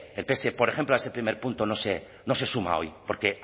el pse por ejemplo a ese primer punto no se suma hoy porque